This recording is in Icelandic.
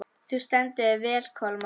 Þú stendur þig vel, Kolmar!